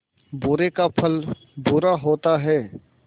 बुरे का फल बुरा होता है